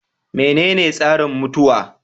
Menene tsarin mutuwa?